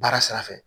Baara sira fɛ